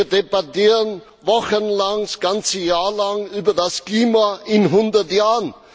Wir debattieren wochenlang, ja das ganze Jahr lang über das Klima in hundert Jahren.